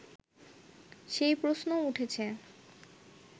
সেই প্রশ্নও উঠেছে